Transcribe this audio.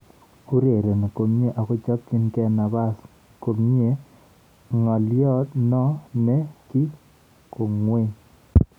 Urereni komye akochopchinigei nabas komyee-ng'alyo no ne gi kwong'ee